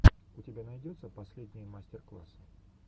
у тебя найдется последние мастер классы